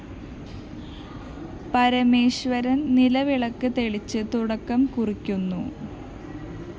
പരമേശ്വരന്‍ നിലവിളക്ക് തെളിച്ച് തുടക്കം കുറിക്കുന്നു